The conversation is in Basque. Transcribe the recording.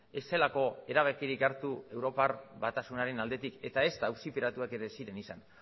ez zelako erabakirik hartu europar batasunaren aldetik eta ezta auziperatuak ere ez ziren izan